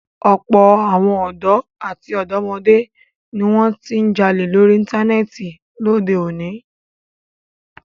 Ọ̀pọ̀ àwọn ọ̀dọ́ àti ọ̀dọ́mọdé ni wọn ti ń jalè lórí Íńtánẹ́ẹ̀tì lóde òní.